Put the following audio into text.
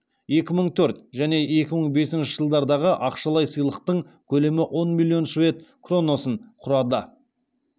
екі мың төрт және екі мың бесінші жылдардағы ақшалай сыйлықтың көлемі он миллион швед кронасын құрады